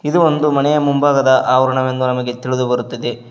ಇದು ಒಂದು ಮನೆಯ ಮಂಭಾಗದ ಆವರನವೆಂದು ನಮಗೆ ತಿಳಿದು ಬರುತ್ತದೆ.